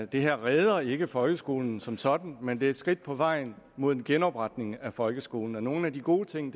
det her redder ikke folkeskolen som sådan men det er et skridt på vejen mod en genopretning af folkeskolen og nogle af de gode ting